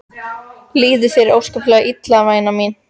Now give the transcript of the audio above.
Líður þér ósköp illa væna mín?